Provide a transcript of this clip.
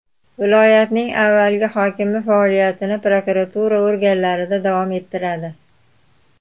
Viloyatning avvalgi hokimi faoliyatini prokuratura organlarida davom ettiradi.